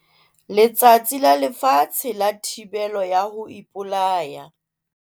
Letsatsi la Lefatshe la Thibelo ya ho Ipolaya